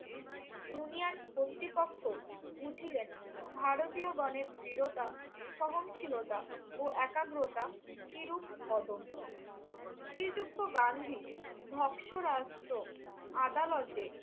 Union কর্তৃপক্ষ বুঝিলেন ভারতীয়গণের দৃঢ়তা, সহনশীলতা ও একাগ্রতা কিরূপ অদম্য। শ্রীযুক্ত গান্ধী ধপসরায়ত্ত আদালতে